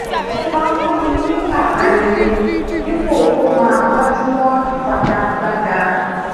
o máa ń fúnni ní àbá rere dípò kó máa gbájúmọ ìfigagbaga